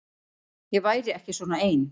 Ég væri ekki svona ein.